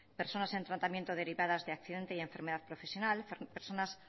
personas en tratamiento derivada de accidente y enfermedad profesional personas